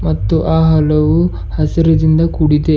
ಮತ್ತು ಆ ಹಲವು ಹಸಿರದಿಂದ ಕೂಡಿದೆ.